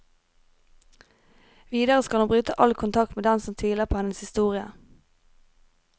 Videre skal hun bryte all kontakt med dem som tviler på hennes historie.